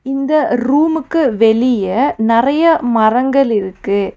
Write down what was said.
இந்த ரூம்க்கு வெளிய நெறைய மரங்கள் இருக்கு.